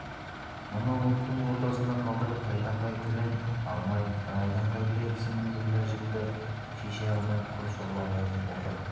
мұны оттың ортасында қалдырып тайтақай тілін алмай райдан қайтпай тісімен бұйда жіпті шеше алмай құр сорлап ол тұр